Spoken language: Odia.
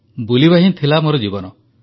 ବୁଲିବା ହିଁ ଥିଲା ମୋର ଜୀବନ